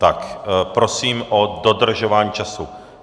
Tak prosím o dodržování času.